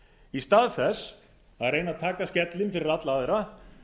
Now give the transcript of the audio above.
í stað þess að reyna að taka skellinn fyrir alla aðra